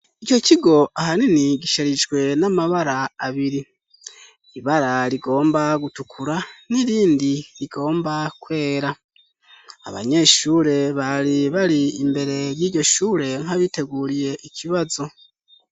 Ico kigo ahanini gisherijwe n'amabara abiri ,ibara rigomba gutukura ,n'irindi rigomba kwera ,abanyeshure bari bari imbere y'ijyoshure nkabiteguriye ikibazo.